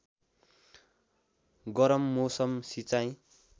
गरम मौसम सिँचाइ